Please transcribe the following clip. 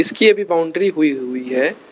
इसकी अभी बाउंड्री हुई हुई है।